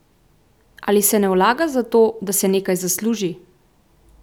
Ali se ne vlaga zato, da se nekaj zasluži?